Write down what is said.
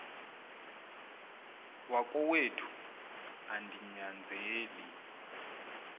wakowethu andi nyanzeli